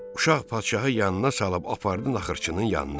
Uşaq padşahı yanına salıb apardı naxırçının yanına.